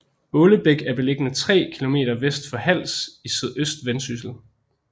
Ålebæk er beliggende 3 kilometer vest for Hals i sydøst Vendsyssel